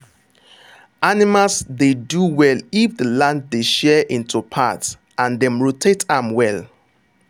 animals dey do well if the land dey share into parts and dem rotate am well.